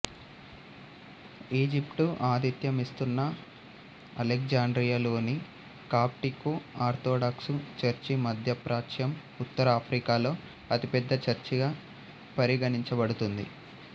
Egypt ఆతిథ్యం ఇస్తున్న అలెగ్జాండ్రియాలోని కాప్టికు ఆర్థోడాక్సు చర్చి మధ్యప్రాచ్యం ఉత్తర ఆఫ్రికాలో అతిపెద్ద చర్చిగా పరిగణించబడుతుంది